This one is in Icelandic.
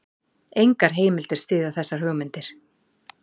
Engar heimildir styðja þessar hugmyndir.